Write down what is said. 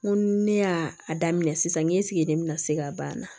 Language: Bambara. N ko ne y'a daminɛ sisan n ye sigi de bina se ka ban na